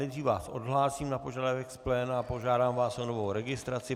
Nejdřív vás odhlásím na požadavek z pléna a požádám vás o novou registraci.